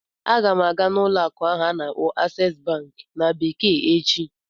Aga m aga n'ụlọ akụ ahụ a na-akpọ "Access bank" na bekee echi